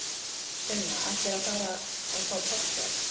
Sunna: Ætlarðu að fara og fá páskaegg?